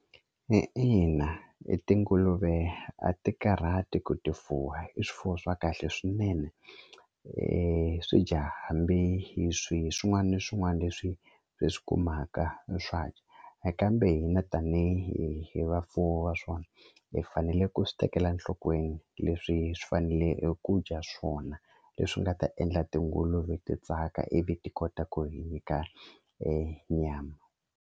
ina i tinguluve a ti karhati ku ti fuwa i swifuwo swa kahle swinene swi dya hambi hi swin'wani ni swin'wani leswi hi swi kumaka swa dya kambe hina tanihi hi vafuwi wa swona hi faneleke ku swi tekela enhlokweni leswi swi fanele eku dya swona leswi nga ta endla tinguluve ti tsaka ivi ti kota ku hi nyika nyama.